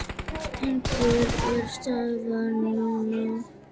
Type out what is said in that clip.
En hver er staðan núna?